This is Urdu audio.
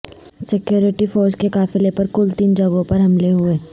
سکیورٹی فورسز کے قافلے پر کل تین جگہوں پر حملے ہوئے